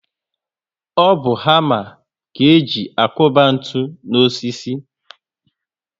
O bu hama ka e ji akuba ntụ n'osisi